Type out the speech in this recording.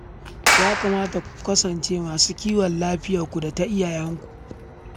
Ya kamata ku kasance masu kiwon lafiyarku da ta iyalanku